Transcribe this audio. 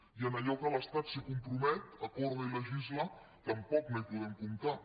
i amb allò que l’estat es compromet acorda i legisla tampoc no hi podem comptar